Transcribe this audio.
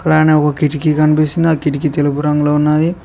అలానే ఒక కిటికీ కనిపిస్తుంది ఆ కిటికీ తెలుపు రంగులో ఉన్నది.